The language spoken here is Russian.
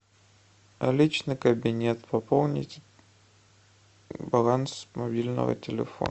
личный кабинет пополнить баланс мобильного телефона